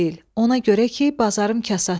Ona görə ki, bazarım kasaddır.